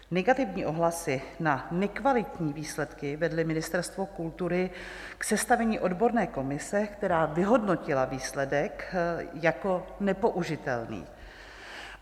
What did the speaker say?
Negativní ohlasy na nekvalitní výsledky vedly Ministerstvo kultury k sestavení odborné komise, která vyhodnotila výsledek jako nepoužitelný.